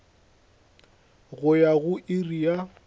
go ya go iri ya